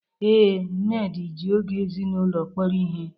Ee, Nnedi ji oge ezinụlọ kpọrọ ihe.